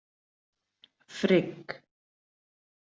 Frigg